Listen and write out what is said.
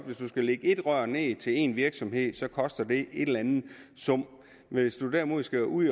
hvis du skal lægge ét rør ned til én virksomhed koster det en eller anden sum men hvis du derimod skal ud